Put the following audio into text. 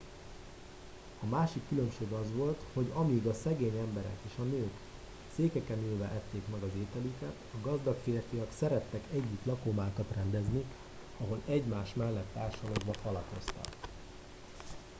a másik különbség az volt hogy amíg a szegény emberek és a nők székeken ülve ették meg az ételüket a gazdag férfiak szerettek együtt lakomákat rendezni ahol egymás mellett társalogva falatoztak